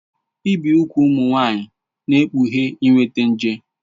Ibi úgwù ụmụ nwanyị na-ekpughe inweta nje.